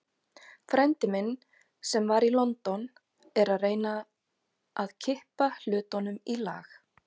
Frændi minn, sem var í London, er að reyna að kippa hlutunum í lag.